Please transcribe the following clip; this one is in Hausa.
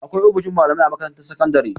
Akwai ofishin malamai a makarantar sakandare.